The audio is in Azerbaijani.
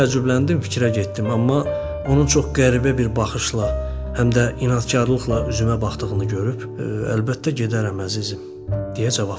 Mən təəccübləndim, fikrə getdim, amma onun çox qəribə bir baxışla, həm də inadkarlıqla üzümə baxdığını görüb, "Əlbəttə gedərəm, əzizim," deyə cavab verdim.